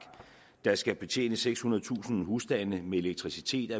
der skal betjene sekshundredetusind husstande med elektricitet